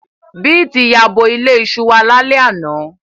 Beeti yabo ile iṣu wa lale ana